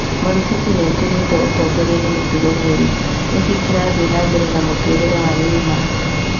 Marufuku nĩatunyĩtwo ûtongori nĩ mĩtugo mĩũru: nĩkĩ kĩrathie na mbere na mũtũrĩre wa Neymar?